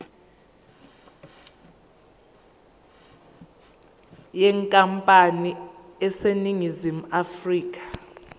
yenkampani eseningizimu afrika